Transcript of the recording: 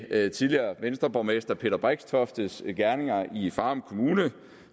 tidligere venstreborgmester peter brixtoftes gerninger i farum kommune